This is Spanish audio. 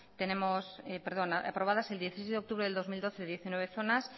perdón aprobadas el dieciséis de octubre del dos mil doce diecinueve zonas